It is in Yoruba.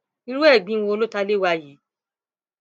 irú ẹgbin wo ló ta lé wa yìí